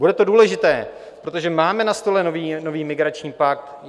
Bude to důležité, protože máme na stole nový migrační pakt.